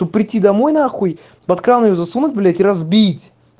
то прийти домой нахуй под кран её засунуть блядь и разбить